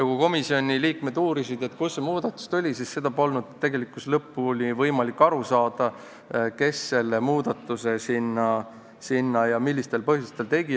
Kui komisjoni liikmed uurisid, kust see muudatus tuli, siis polnud tegelikkuses võimalik lõpuni aru saada, kes ja millistel põhjustel selle muudatuse sinna tegi.